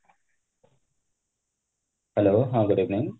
hello ହଁ good evening